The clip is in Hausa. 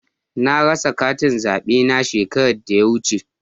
Na rasa katin zaɓe na shekaran da ya wuce.